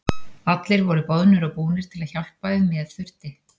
Allir voru boðnir og búnir til að hjálpa ef með þurfti.